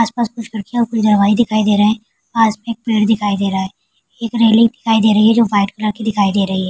आस-पास कुछ लड़कियाँ दवाई दिखाई दे रहे पास में एक पेड़ दिखाई दे रहा है एक रेलिंग दिखाई दे रही है जो वाइट कलर की देखाई दे रही है।